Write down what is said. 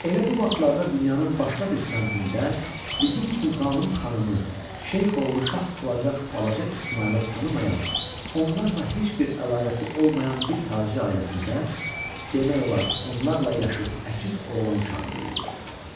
Elə bu vaxtlarda dünyanın başqa bir səmtində, bizim sultanım xanımı, şeyxoğlu şah olacaq balaca İsmayılı tanımayan, onlarla heç bir əlaqəsi olmayan bir tacir ailəsində, demək olar onlarla yaşıd əkiz oğlan uşağı böyüyürdü.